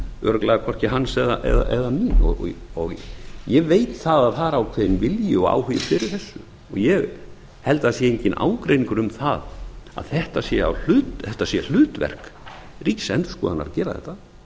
örugglega hvorki hans né mitt og ég veit að það er ákveðinn vilji og áhugi fyrir þessu ég held að það sé enginn ágreiningur um það að þetta sé hlutverk ríksiendurskoðuanr að gera þetta